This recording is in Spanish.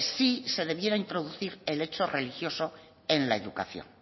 si debiera introducir el hecho religioso en la educación